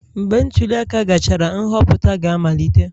Mgbe ntuli aka gachara, nhọpụta ga-amalite